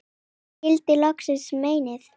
og skil loksins meinið